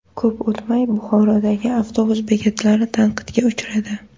Ko‘p o‘tmay Buxorodagi avtobus bekatlari tanqidga uchradi .